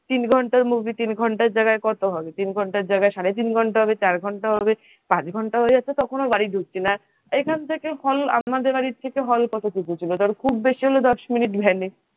তিন ঘন্টার movie তিন ঘন্টার জায়গায় কত হবে সারে তিন ঘন্টা হবে চার ঘন্টা হবে পাঁচ ঘন্টা হয়ে যাচ্ছে তখনও বাড়ি ধুঁকছি না এই খান থেকে hall আমাদের বাড়ি থেকে hall এখান থেকে হল কত দূর হবে খুব বেশি হলে দশ মিনিট van এ